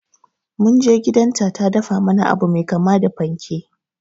Munje gidan ta ta dafa mana abu mai kama da panke